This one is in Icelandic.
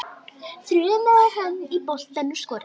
þrumaði hann.